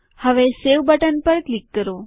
હવે save button પર click કરો